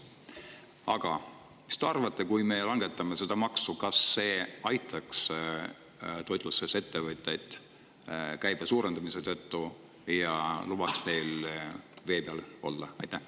Aga mis te arvate, kui me langetame seda maksu, kas see aitaks toitlustusettevõtteid käibe suurenemise tõttu ja lubaks neil vee peale jääda?